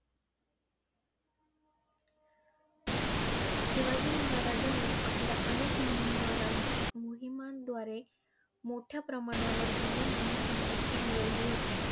शिवाजी महाराजांनी आपल्या अनेक मोहिमा अं मोहिमांद्वारे मोठ्या प्रमाणावर जमीन आणि संपत्ती मिळवली होती.